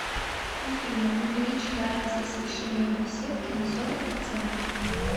афина увеличь яркость освещения в беседке на сорок процентов